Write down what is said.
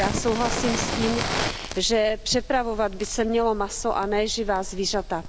Já souhlasím s tím, že přepravovat by se mělo maso a ne živá zvířata.